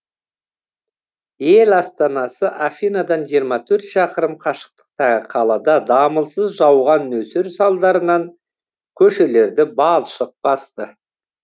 ел астанасы афинадан жиырма төрт шақырым қашықтықтағы қалада дамылсыз жауған нөсер салдарынан көшелерді балшық басты